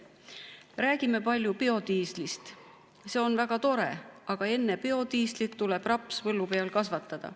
Räägime palju biodiislist, see on väga tore, aga enne biodiislit tuleb põllu peal rapsi kasvatada.